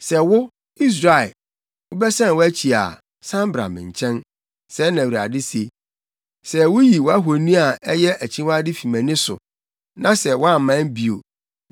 “Sɛ wo, Israel, wobɛsan wʼakyi a, san bra me nkyɛn,” sɛɛ na Awurade se. “Sɛ wuyi wʼahoni a ɛyɛ akyiwade fi mʼani so na sɛ woamman bio,